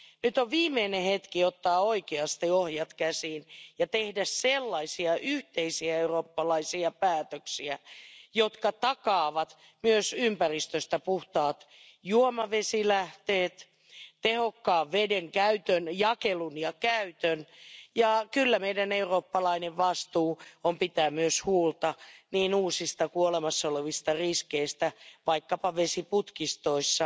Nyt on viimeinen hetki ottaa oikeasti ohjat käsiin ja tehdä sellaisia yhteisiä eurooppalaisia päätöksiä, jotka takaavat myös ympäristöstä puhtaat juomavesilähteet, tehokkaan vedenkäytön jakelun ja käytön ja kyllä meidän eurooppalainen vastuu on pitää myös huolta niin uusista kuin olemassa olevista riskeistä vaikkapa vesiputkistoissa.